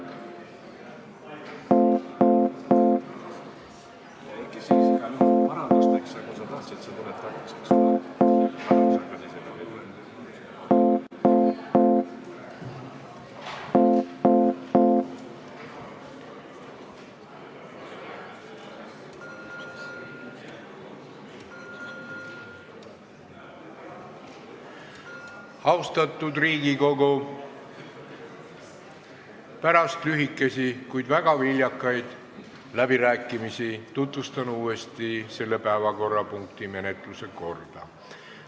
Pärast lühikesi, kuid väga viljakaid läbirääkimisi tutvustan uuesti selle päevakorrapunkti menetlemise korda.